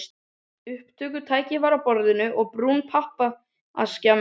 Upptökutæki var á borðinu og brún pappaaskja merkt